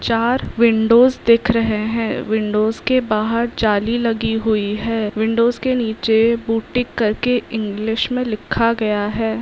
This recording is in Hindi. चार विंडोस दिख रहे हैं। विंडोस के बहार जाली लगी हुई है। विंडोस के नीचे बुटीक करके इंलिश में लिखा गया है।